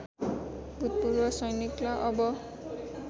भूतपूर्व सैनिकलाई अब